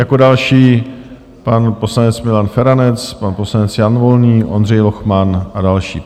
Jako další pan poslanec Milan Feranec, pan poslanec Jan Volný, Ondřej Lochman a další.